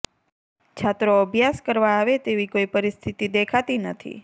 છાત્રો અભ્યાસ કરવા આવે તેવી કોઈ પરિસ્થિતિ દેખાતી નથી